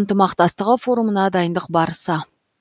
ынтымақтастығы форумына дайындық барысы